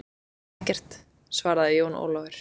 Ekkert, svaraði Jón Ólafur.